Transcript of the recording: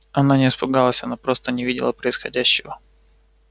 она не испугалась она просто не видела происходящего